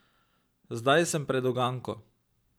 Zdaj sem pred uganko.